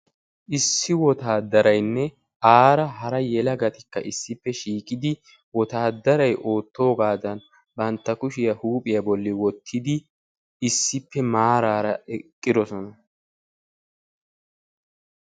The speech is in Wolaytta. Issi wotaadaraynne aara hara yelagatikka issippe shiiqidi wotaadaray oottoogaadan bantta kushiya huuphiya bollan wottidi issippe maarara eqqidosona.